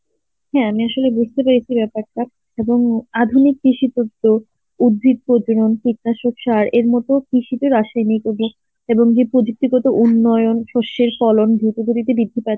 হ্যাঁ আমি আসলে বুঝতে পেরেছি ব্যাপারটা. এবং আধুনিক কৃষি পদ্ধতিতে উদ্ভিদের যেমন এরমধ্যেও কৃষিতে রাসায়নিক এব~ এবং যে প্রযুক্তিগত উন্নয়ন শস্যের ফলন দ্রুতগতিতে বৃদ্ধি পাচ্ছে